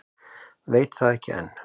Veit það ekki enn.